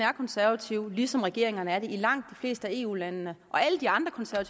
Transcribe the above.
er konservativ ligesom regeringerne er det i langt de fleste eu lande og alle de andre